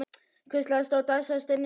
Hvíslast á og dæsa og stynja blíðlega.